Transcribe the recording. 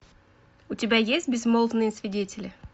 у тебя есть безмолвные свидетели